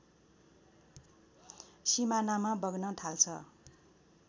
सिमानामा बग्न थाल्छ